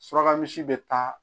Suraka misi bɛ taa